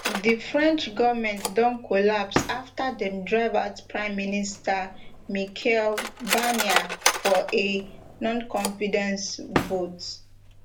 di french govment don collapse afta dem drive out prime minister michel barnier for a noconfidence vote